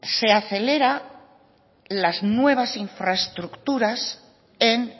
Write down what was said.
se aceleran las nuevas infraestructuras en